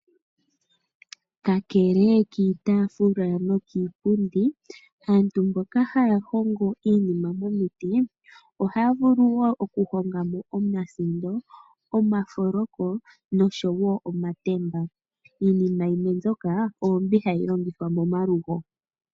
Kakele kiitafula nokiipundi aantu mboka haya hongo iinima momiti ohaya vuluwo okuhongamo omasindo ,omafoloko noshowo omatemba iinima yimwe mbyoka ombi hayi longithwa momalugo.